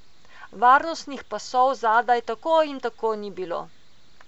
Varnostnih pasov zadaj tako in tako ni bilo.